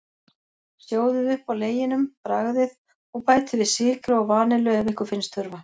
Sjóðið upp á leginum, bragðið, og bætið við sykri og vanillu ef ykkur finnst þurfa.